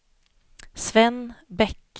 Sven Bäck